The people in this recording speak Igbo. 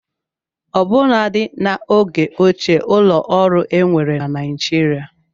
Ọbụnadị n'oge ochie ụlọ ọrụ enwere na Nigeria